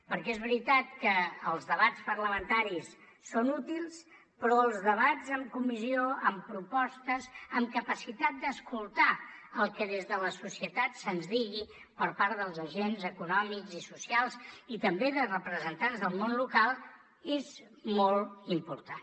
perquè és veritat que els debats parlamentaris són útils però els debats en comissió amb propostes amb capacitat d’escoltar el que des de la societat se’ns digui per part dels agents econòmics i socials i també de representants del món local és molt important